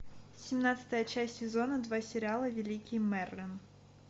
семнадцатая часть сезона два сериала великий мерлин